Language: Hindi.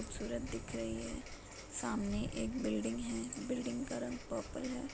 सूरत दिख रही है। सामने एक बिल्डिंग है। बिल्डिंग का रंग पर्पल है।